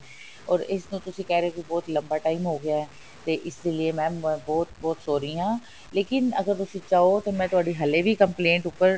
or ਇਸ ਨੂੰ ਤੁਸੀਂ ਕਹਿ ਰਹੇ ਹੋ ਬੜਾ ਲੰਬਾ time ਹੋ ਗਿਆ ਤੇ ਇਸ ਲਈ mam ਮੈਂ ਬਹੁਤ ਬਹੁਤ sorry ਆਂ ਲੇਕਿਨ ਅਗਰ ਤੁਸੀਂ ਚਾਹੋ ਤਾਂ ਮੈਂ ਤੁਹਾਡੀ ਹਲੇ ਵੀ complaint ਉੱਪਰ